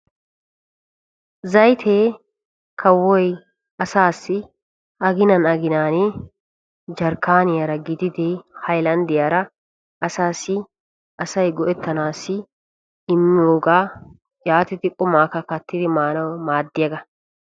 Zaytte kawoy asaassi aginan aginan jarkkaniyan hayllanddiyan asay go'ettanaassi immiyo qumaa kattanawu maaddiyaaga.